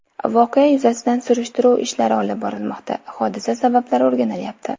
Voqea yuzasidan surishtiruv ishlari olib borilmoqda, hodisa sabablari o‘rganilyapti.